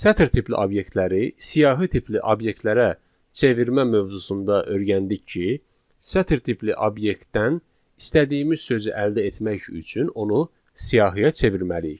Sətir tipli obyektləri, siyahı tipli obyektlərə çevirmə mövzusunda öyrəndik ki, sətir tipli obyektdən istədiyimiz sözü əldə etmək üçün onu siyahıya çevirməliyik.